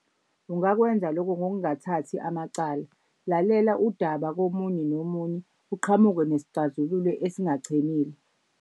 Ungakwenza loko ngokungathathi amacala, lalela udaba komunye nomunye uqhamuke nesixazululo esingachemile.